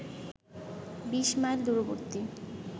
বিশ মাইল দূরবর্তী